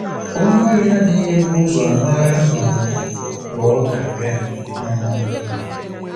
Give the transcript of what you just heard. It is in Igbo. Onye ohi adịghị ebu ụzọ mara um mgbe ọ ga-abịa. um